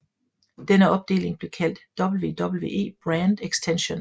Denne opdeling blev kaldt WWE Brand Extension